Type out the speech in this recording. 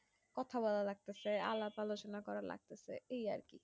কথা বলা লাগতেছে আলাপ আলোচনা করা লাগতেছে এই আর কি